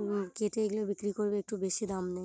উম কেটে এগুলো বিক্রি করলে একটু বেশি দাম নেয়।